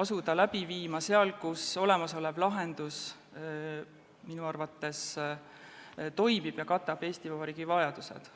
asuda läbi viima seal, kus olemasolev lahendus vähemalt minu arvates toimib ja katab Eesti Vabariigi vajadused.